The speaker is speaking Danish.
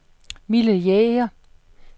Mille Jæger